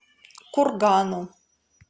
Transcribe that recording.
кургану